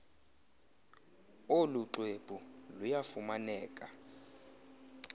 olu xwebhu luyafumaneka